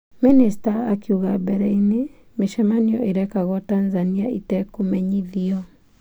Mĩnĩsta akiuga mbere-inĩ mĩcemanio ĩrekagwo Tanzania ĩtekũmenyithio.